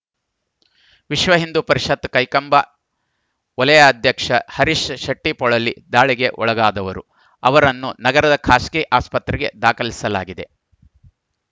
ವಿಶ್ವ ಹಿಂದೂ ಪರಿಷತ್‌ ಕೈಕಂಬ ವಲಯಾಧ್ಯಕ್ಷ ಹರೀಶ್‌ ಶೆಟ್ಟಿಪೊಳಲಿ ದಾಳಿಗೆ ಒಳಗಾದವರು ಅವರನ್ನು ನಗರದ ಖಾಸಗಿ ಆಸ್ಪತ್ರೆಗೆ ದಾಖಲಿಸಲಾಗಿದೆ